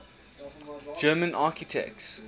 german architects